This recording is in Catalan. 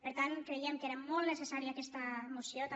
per tant creiem que era molt necessària aquesta moció també